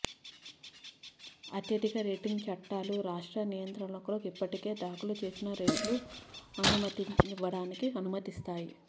అత్యధిక రేటింగ్ చట్టాలు రాష్ట్ర నియంత్రకులకు ఇప్పటికే దాఖలు చేసిన రేట్లు అనుమతించనివ్వడానికి అనుమతిస్తాయి